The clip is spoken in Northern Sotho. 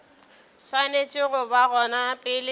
swanetše go ba gona pele